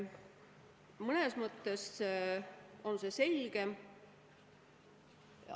Mõnes mõttes on see selgem.